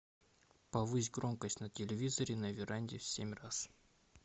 повысь громкость на телевизоре на веранде семь раз